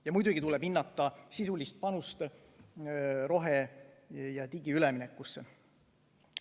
Ja muidugi tuleb hinnata sisulist panust rohe- ja digiüleminekusse.